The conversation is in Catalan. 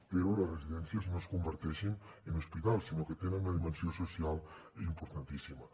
però que les residències no es converteixin en hospitals que tenen una dimensió social importantíssima